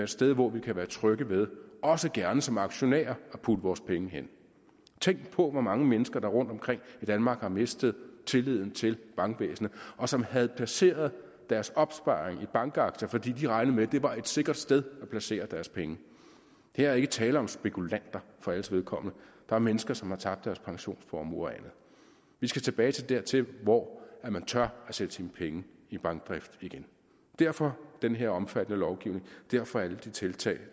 sted hvor vi kan være trygge ved også gerne som aktionærer at putte vores penge hen tænk på hvor mange mennesker der rundtomkring i danmark har mistet tilliden til bankvæsenet og som havde placeret deres opsparing i bankaktier fordi de regnede med at det var et sikkert sted at placere deres penge her er ikke tale om spekulanter for alles vedkommende der er mennesker som har tabt deres pensionsformuer og andet vi skal tilbage dertil hvor man tør at sætte sine penge i bankdrift igen derfor den her omfattende lovgivning derfor alle de tiltag